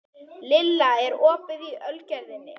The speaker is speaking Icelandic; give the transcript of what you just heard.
Lilla, er opið í Ölgerðinni?